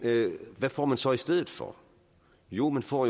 hvad får man så i stedet for jo man får